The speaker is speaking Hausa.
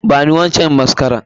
Bani wancan mascara!